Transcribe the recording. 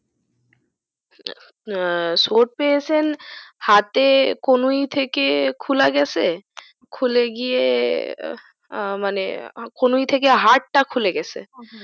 আহ চোট পেয়েছেন হাতে কুনুই থেকে খুলাগেছে খুলেগিয়ে আহ মানে কুনুই থেকে হারটা খুলে গেছে।